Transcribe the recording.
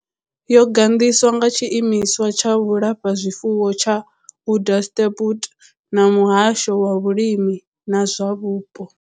Yo gandiswa nga tshiimiswa tsha vhulafhazwifuwo tsha Onderstepoort na muhasho wa vhulimi na zwa vhupo.